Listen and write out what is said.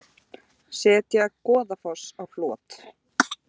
Setja Goðafoss á flot